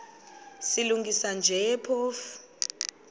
silungisa nje phofu